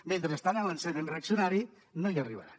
mentre estiguin a l’ensenyament reaccionari no hi arribaran